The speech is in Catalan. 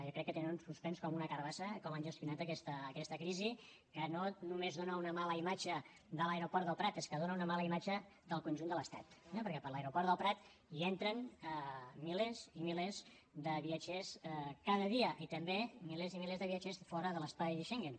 jo crec que tenen un suspens com una carbassa com han gestionat aquesta crisi que no només dona una mala imatge de l’aeroport del prat és que dona una mala imatge del conjunt de l’estat eh perquè per l’aeroport del prat hi entren milers i milers de viatgers cada dia i també milers i millers de viatgers de fora de l’espai schengen